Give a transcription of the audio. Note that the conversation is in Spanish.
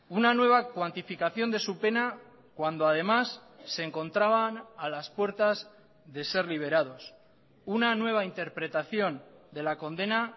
una nueva cuantificación de su pena cuando además se encontraban a las puertas de ser liberados una nueva interpretación de la condena